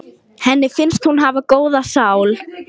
Hló þá Sveinn mót himninum og hrópaði: